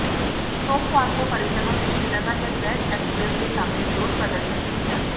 सोमवार को परिजनों ने श्रीनगर में प्रेस एनक्लेव के सामने विरोध प्रदर्शन भी किया था